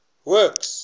works